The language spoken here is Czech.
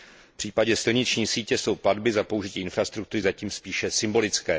V případě silniční sítě jsou platby za použití infrastruktury zatím spíše symbolické.